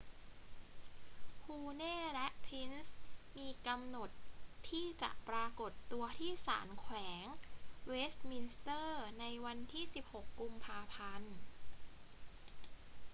huhne และ pryce มีกำหนดที่จะปรากฏตัวที่ศาลแขวงเวสต์มินสเตอร์ในวันที่ 16 กุมภาพันธ์